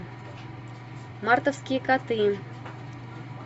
мартовские коты